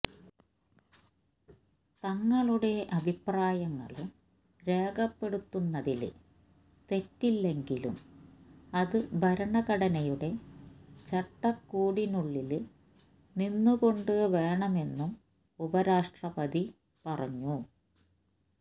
തങ്ങളുടെ അഭിപ്രായങ്ങള് രേഖപ്പെടുത്തുന്നതില് തെറ്റില്ലെങ്കിലും അത് ഭരണഘടനയുടെ ചട്ടക്കൂടിനുള്ളില് നിന്നുകൊണ്ട് വേണമെന്നും ഉപരാഷ്ട്രപതി പറഞ്ഞു